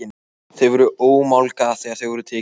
Þau voru ómálga þegar þau voru tekin.